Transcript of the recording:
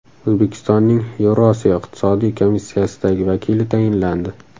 O‘zbekistonning Yevrosiyo iqtisodiy komissiyasidagi vakili tayinlandi.